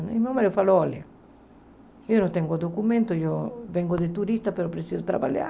Meu marido falou, olha, eu não tenho documento, eu venho de turista, mas preciso trabalhar.